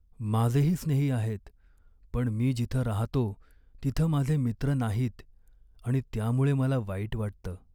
माझेही स्नेही आहेत, पण मी जिथं राहतो तिथं माझे मित्र नाहीत आणि त्यामुळे मला वाईट वाटतं.